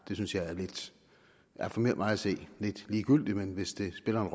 er for mig at se lidt ligegyldigt men hvis det spiller